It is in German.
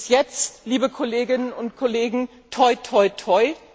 Bis jetzt, liebe Kolleginnen und Kollegen, toi, toi, toi.